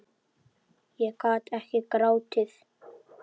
Ég gat ekki grátið.